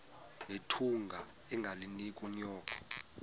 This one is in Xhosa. nethunga ungalinik unyoko